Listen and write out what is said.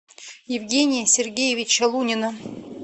евгения сергеевича лунина